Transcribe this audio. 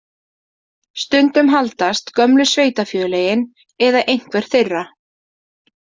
Stundum haldast gömlu sveitarfélögin eða einhver þeirra.